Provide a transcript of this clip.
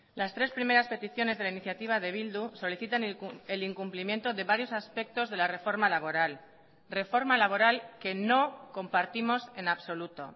las tres primeras peticiones de la iniciativa de bildu solicitan el incumplimiento de varios aspectos de la reforma laboral reforma laboral que no compartimos en absoluto